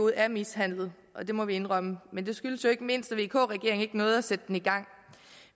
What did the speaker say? er mishandlet og det må vi indrømme men det skyldes jo ikke mindst at vk regeringen ikke nåede at sætte den i gang